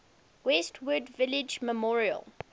westwood village memorial